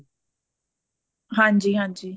ਹਾਂਜੀ ਹਾਂਜੀ